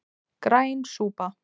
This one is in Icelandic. Græn súpa